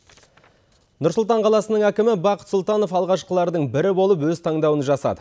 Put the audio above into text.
нұр сұлтан қаласының әкімі бақыт сұлтанов алғашқылардың бірі болып өз таңдауын жасады